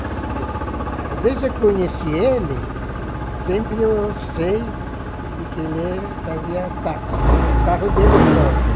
taxista. É. Desde que eu conheci ele, sempre eu sei de que ele fazia táxi, carro dele próprio.